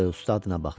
Ustadına baxdı.